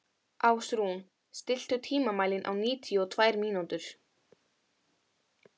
Ásrún, stilltu tímamælinn á níutíu og tvær mínútur.